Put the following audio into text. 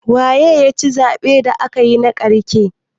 Waye ya ci zaɓen da aka yi na ƙarshe?